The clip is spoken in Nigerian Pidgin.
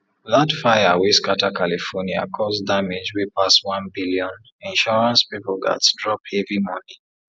that fire wey scatter california cause damage wey pass one billion insurance people gats drop heavy money